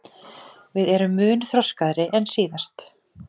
Við erum mun þroskaðri en síðast